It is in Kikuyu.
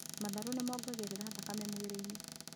Matharũ nĩ mongagĩrĩra thakame mwĩrĩ-inĩ